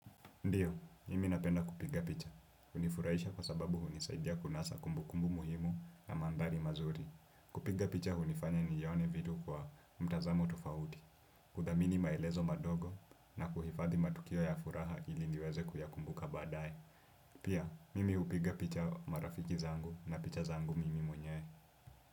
Ndiyo, mimi napenda kupiga picha. Hunifurahisha kwa sababu hunisaidia kunasa kumbukumbu muhimu na mandhari mazuri. Kupiga picha hunifanya nione vitu kwa mtazamo tofauti. Kudhamini maelezo madogo na kuhifadhi matukio ya furaha ili niweze kuyakumbuka baadaye. Pia, mimi hupiga picha marafiki zangu na picha zangu mimi mwenyewe.